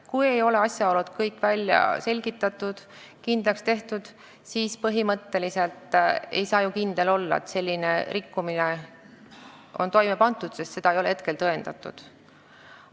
Kui kõik asjaolud ei ole välja selgitatud ja kindlaks tehtud, siis põhimõtteliselt ei saa ju kindel olla, et rikkumine on toime pandud, sest see ei ole tõendatud.